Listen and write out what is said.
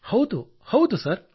ಹೌದು ಹೌದು ಸರ್